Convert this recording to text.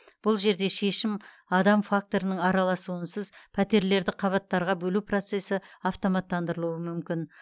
бұл жерде шешім адам факторының араласуынсыз пәтерлерді қабаттарға бөлу процесі автоматтандырылуы мүмкін